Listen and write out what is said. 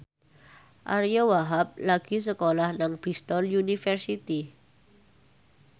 Ariyo Wahab lagi sekolah nang Bristol university